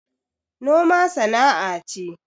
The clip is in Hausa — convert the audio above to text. Noma sana'a ce